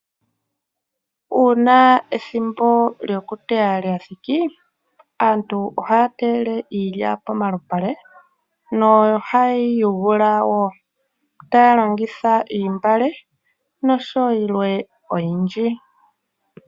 Uuna ethimbo lyo kuteya lyathiki, aantu ohaya teyele iilya pomalupale nohaye yiyele wo taya longitha oontungwa osho wo yilwe oyindji.